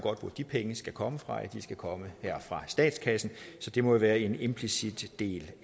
hvor de penge skal komme fra de skal komme her fra statskassen så det må jo være en implicit del